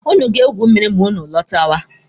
Ụnụ ga-egwu mmiri ma ụnụ lọtawa.